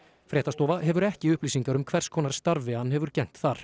fréttastofa hefur ekki upplýsingar um hvers konar starfi hann hefur gegnt þar